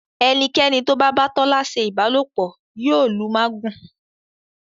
Enikeni tó bá ba Tola ṣe ìbálòpọ̀ yóò lù magun.